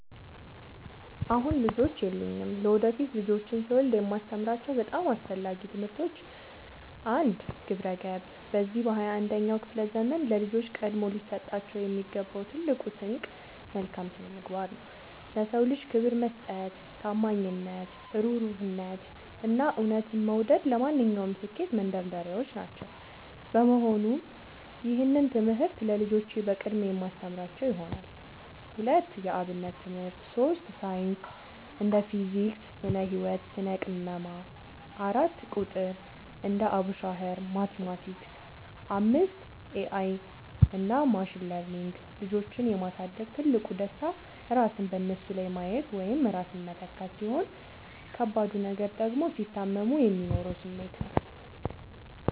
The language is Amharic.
አሁን ልጆች የሉኝም። ለወደፊት ልጆችን ስወልድ የማስተምራቸው በጣም አስፈላጊ ትምህርቶች፦ 1. ግብረ-ገብ፦ በዚህ በ 21ኛው ክፍለ ዘመን ለልጆች ቀድሞ ሊሰጣቸው የሚገባው ትልቁ ስንቅ መልካም ስነምግባር ነው። ለ ሰው ልጅ ክብር መስጠት፣ ታማኝነት፣ እሩህሩህነት፣ እና እውነትን መውደድ ለማንኛውም ስኬት መንደርደሪያዎች ናቸው። በመሆኑም ይህንን ትምህርት ለልጆቼ በቅድሚያ የማስተምራቸው ይሆናል። 2. የ አብነት ትምህርት 3. ሳይንስ (ፊዚክስ፣ ስነ - ህወት፣ ስነ - ቅመማ) 4. ቁጥር ( አቡሻኽር፣ ማቲማቲክስ ...) 5. ኤ አይ እና ማሽን ለርኒንግ ልጆችን የ ማሳደግ ትልቁ ደስታ ራስን በነሱ ላይ ማየት ወይም ራስን መተካት፣ ሲሆን ከባዱ ነገር ደግሞ ሲታመሙ የሚኖረው ስሜት ነው።